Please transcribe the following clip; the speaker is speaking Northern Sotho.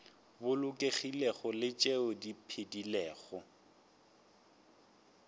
bolokegilego le tšeo di phedilego